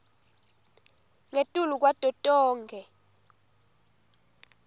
ngetulu kwato tonkhe